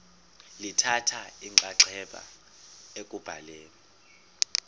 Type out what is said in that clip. lithatha inxaxheba ekubhaleni